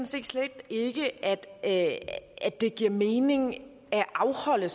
set slet ikke at det giver mening at afholde